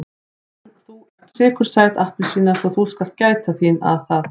En þú ert sykursæt appelsína svo þú skalt gæta þín að það.